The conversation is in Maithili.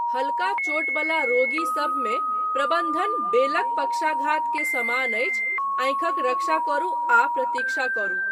हल्का चोट बला रोगी सभमे, प्रबन्धन 'बेलक पक्षाघात' के समान अछि, आँखिक रक्षा करू आ प्रतीक्षा करू।